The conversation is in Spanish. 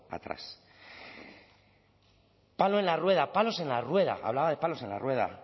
atrás palo en la rueda palos en la rueda hablaba de palos en la rueda